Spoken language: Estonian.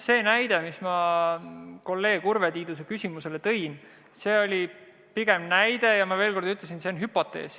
See näide, mille ma kolleeg Urve Tiiduse küsimusele vastates tõin, oli pigem näide ja ma veel kord ütlen, et see oli hüpotees.